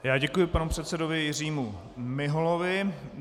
Já děkuji panu předsedovi Jiřímu Miholovi.